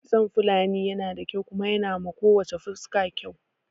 Kitson Fulani yana da kyau kuma yanawa ko wacce fuska kyau